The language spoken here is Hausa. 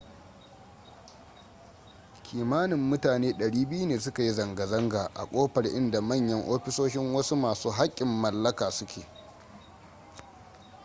kimanin mutane 200 ne suka yi zanga-zanga a kofar inda manyan ofisoshin wasu masu haƙƙin mallaka su ke